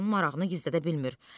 Xan marağını gizlədə bilmir.